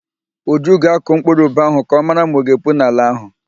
Uju ga-akụ mkpụrụ ube ahụ ka ọ mara ma ọ ga-epu n'ala ahụ.